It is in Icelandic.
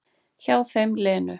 Hjá þeim Lenu.